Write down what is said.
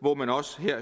hvor man også her